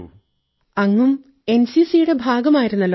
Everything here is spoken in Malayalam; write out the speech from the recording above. തരന്നും അങ്ങും എൻസിസിയുടെ ഭാഗമായിരുന്നല്ലോ